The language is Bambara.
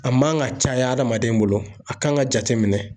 A man ka caya adamaden bolo a kan ka jateminɛ